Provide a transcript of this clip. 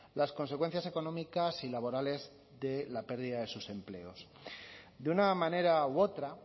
las consecuencias económicas y laborales de la pérdida de sus empleos de una manera u otra